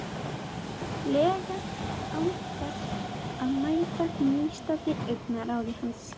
lega án þess að mæta nístandi augnaráði hans.